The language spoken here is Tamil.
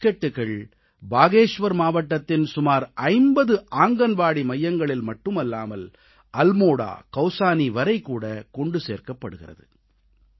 இந்த பிஸ்கட்கள் பாகேஷ்வர் மாவட்டத்தின் சுமார் 50 ஆங்கன்வாடி மையங்களில் மட்டுமல்லாமல் அல்மோடா கவுசானி வரைகூட கொண்டு சேர்க்கப்பட்டு வருகிறது